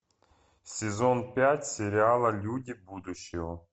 сезон пять сериала люди будущего